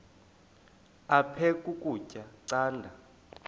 aphek ukutya canda